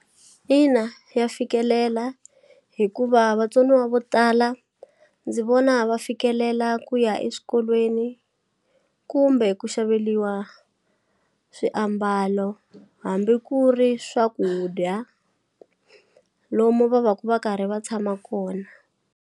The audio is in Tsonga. Ina ya fikelela hikuva vatsoniwa vo tala ndzi vona va fikelela ku ya eswikolweni kumbe ku xaveliwa swiambalo hambi ku ri swakudya lomu va va ku va karhi va tshama kona.